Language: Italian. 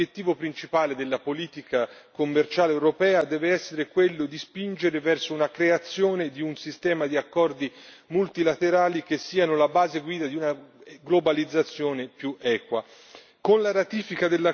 Ma occorre ricordare che l'obiettivo principale della politica commerciale europea deve essere quello di spingere verso la creazione di un sistema di accordi multilaterali che siano la base guida di una globalizzazione più equa.